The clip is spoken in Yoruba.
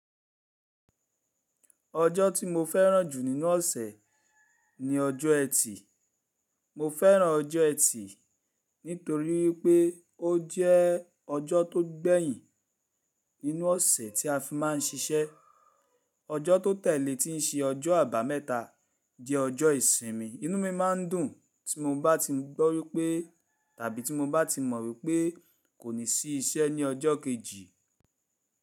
Ọjọ́ tí mo fẹ́ràn jù nínú ọ̀sẹ̀ ni ọjọ́ Ẹtì. Mo fẹ́ràn ọjọ́ Ẹtì nítorí wípé ó jẹ́ ọjọ́ tó gbẹ̀yìn nínú ọ̀sẹ̀ tí a fi má ń ṣiṣẹ́. Ọjọ́ tó tẹ̀lé tí ń ṣe ọjọ́ àbámẹ́ta jẹ́ ọjọ́ ìsinmi. Inú mi má ń dùn tí mo bá ti gbọ́ wípé tàbí tí mo bá ti mọ̀ wípé kò ní sí iṣẹ́ ní ọjọ́ kejì.